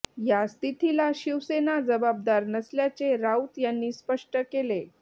या स्थितीला शिवसेना जबाबदार नसल्याचे राऊत यांनी स्पष्ट केले